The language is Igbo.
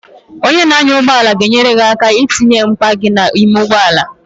Onye na-anya ụgbọala ga-enyere gị aka itinye akpa gị n'ime ụgbọala.